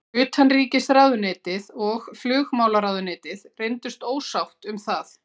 Utanríkisráðuneytið og flugmálaráðuneytið reyndust ósátt um það.